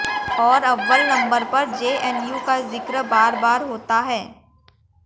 और अव्वल नंबर पर जेएनयू का जिक्र बार बार बार होता है